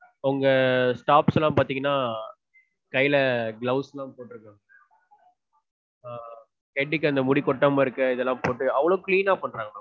உங்க staffs லாம் பாத்தீங்கனா gloves லாம் போட்றுந்தாங்க. head க்கு அந்த முடி கொட்டாம இருக்க இதெல்லாம் போட்டு அவ்ளோ clean னா பண்றாங்க.